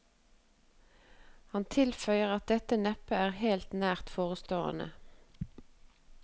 Han tilføyer at dette neppe er helt nært forestående.